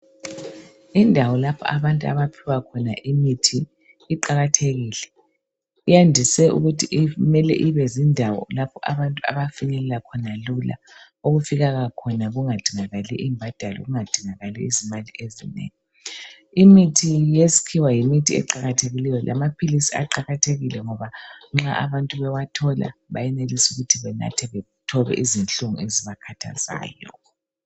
Indawo lapho abantu abaphiwa khona imithi iqakathekile. Iyandise ukuthi imele ibezindawo lapho abantu abafinyelela khona lula. Okufikeka khona kungadingakali imbadalo, kungadingakali izimali ezinengi. Imithi yeskhiwa yimithi eqakathekileyo lama philisi aqakathekile ngoba nxa abantu bewathola bayenelisa ukuthi banathe bathobe izinhlungu ezibakhathazayo.